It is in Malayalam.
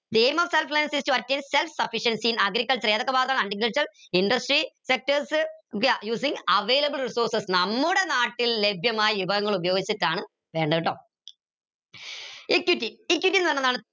is to attain self sufficiency in the agriculture ഏതൊക്കെ ഭാഗാണ് agriculture industry sectors using the available resource നമ്മുട നാട്ടിൽ ലഭ്യമായി വിഭവങ്ങൾ ഉപയോഗിച്ചിട്ടാണ് വേണ്ടത് ട്ടോ equity equity ന്ന് പറഞ്ഞ എന്താണ്